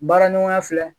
Baara ɲɔgɔnya filɛ